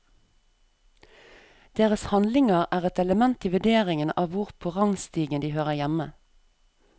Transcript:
Deres handlinger er et element i vurderingen av hvor på rangstigen de hører hjemme.